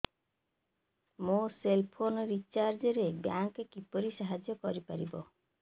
ମୋ cell phone recharge ରେ bank କିପରି ସାହାଯ୍ୟ କରିପାରିବ